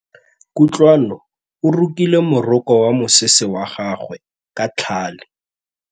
Kutlwanô o rokile morokô wa mosese wa gagwe ka tlhale.